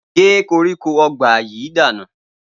Gé koríko o̩ba yìí dànù!